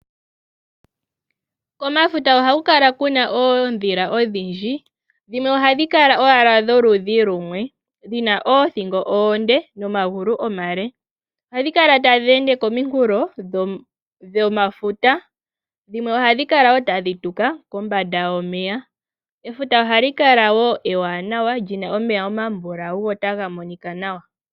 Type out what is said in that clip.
Komafuta ohaku kala kuna oondhila odhindji dhimwe ohadhi kala owala dholudhi lumwe dhina oothingo oonde nomagulu omale . Ohadhi kala tadhi ende kominkulo dhomafuta. Dhimwe ohadhi kala woo tadhi tuka kombanda yomeya. Efuta ohali kala woo ewanawa lina omeya omambulawu go otaga monika nawa.